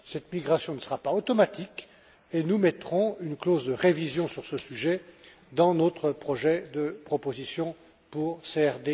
I. Cette migration ne sera pas automatique et nous intégrerons une clause de révision sur ce sujet dans notre projet de proposition pour CRD